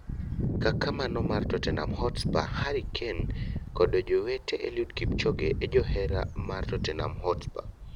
kaka mano mar Tottenham Hotspur - Harry Kane kodo jowete, Eliud Kipchoge e jahera mar Tottenham Hotspur